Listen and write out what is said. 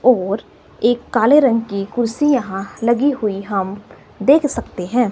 और एक काले रंग की कुर्सी यहां लगी हुई हम देख सकते हैं।